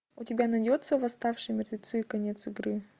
у тебя найдется восставшие мертвецы конец игры